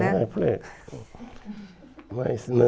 é, é, mas